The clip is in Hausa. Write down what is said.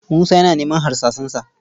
Musa yana neman harsasansa